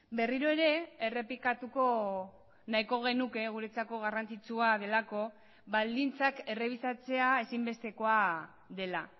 berriro ere errepikatuko nahiko genuke guretzako garrantzitsua delako baldintzak errebisatzea ezinbestekoa dela